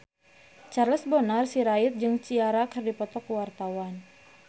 Charles Bonar Sirait jeung Ciara keur dipoto ku wartawan